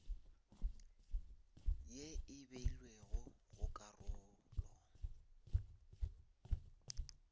ye e beilwego go karolo